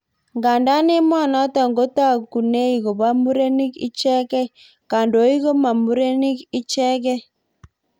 Ngandaa emonotok kotakunei kopo murenik ichekei, kandoik koma murenik ichegei